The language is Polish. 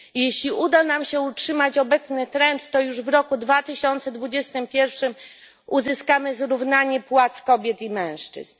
Jeśli uda nam się utrzymać obecny trend, to już w roku 2021 uzyskamy zrównanie płac kobiet i mężczyzn.